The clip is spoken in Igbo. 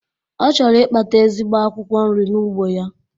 Ọ chọrọ Ịkpata ezigbo akwụkwọ nri n'ugbo ya